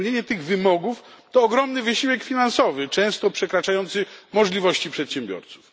Spełnienie tych wymogów to ogromny wysiłek finansowy często przekraczający możliwości przedsiębiorców.